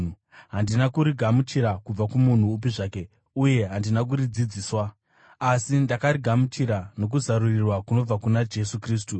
Handina kurigamuchira kubva kumunhu upi zvake uye handina kuridzidziswa, asi ndakarigamuchira nokuzarurirwa kunobva kuna Jesu Kristu.